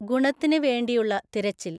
ഗുണത്തിന് വേണ്ടിയുള്ള തിരച്ചിൽ